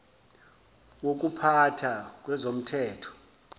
wokupha tha kwezomthetho